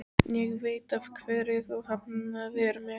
Ég veit af hverju þú hafnaðir mér.